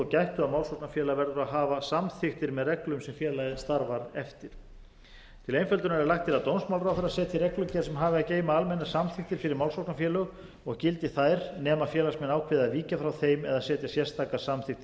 málsóknarfélag verður að hafa samþykktir með reglum sem félagið starfar eftir til einföldunar er lagt til að dómsmálaráðherra setji reglugerð sem hafi að geyma almennar samþykktir fyrir málsóknarfélög og gildi þær nema félagsmenn ákveði að víkja frá þeim eða setja sérstakar samþykktir